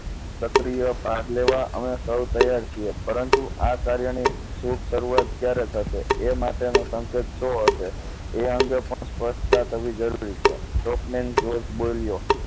સક્રિય ભાગ લેવા અમે સૌ તૈયાર છીએ પરંતુ આ કાર્યને શુભ શરૂઆત ક્યારે થશે એ માટેનો સંકેત શુ હશે એ અંગે પણ સ્પષ્ટતા થવી જરૂરી છે ડોકમેન બોલ્યો